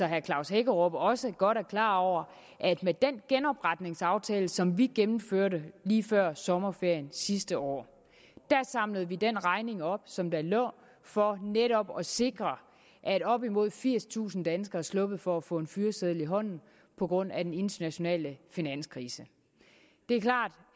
herre klaus hækkerup også godt er klar over at med den genopretningsaftale som vi gennemførte lige før sommerferien sidste år samlede vi den regning op som der lå for netop at sikre at op imod firstusind danskere er sluppet for at få en fyreseddel i hånden på grund af den internationale finanskrise det er klart